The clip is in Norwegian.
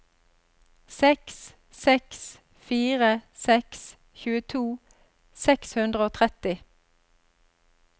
seks seks fire seks tjueto seks hundre og tretti